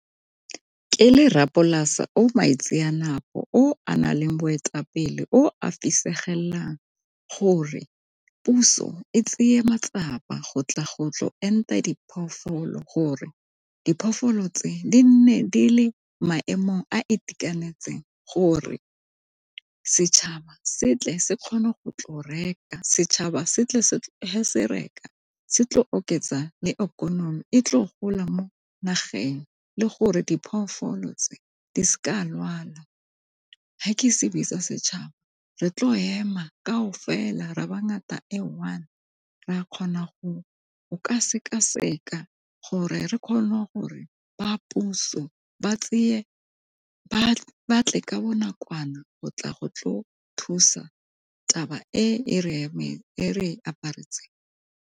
Ke le rra polase o , o a na le boetapele, o a fisegelang gore puso e tseye matsapa go tla go tlo enta diphologolo gore diphologolo tse di nne di le maemong a itekanetseng gore setšhaba setle se kgone go tlo reka setšhaba se reka se tle oketsa le ikonomi e tle gola mo nageng le gore diphologolo tse di seke di a lwala. Ga ke se bitsa setšhaba re tlo ema kao fela ra ba ngata e one ra kgona go ka sekaseka gore re kgone gore ba puso ba batle ka bonakwana go tla go tlo thusa taba e re aparetseng.